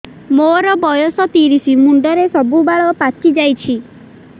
ମୋର ବୟସ ତିରିଶ ମୁଣ୍ଡରେ ସବୁ ବାଳ ପାଚିଯାଇଛି